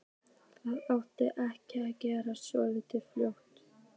Það átti ekki að gerast svona fljótt.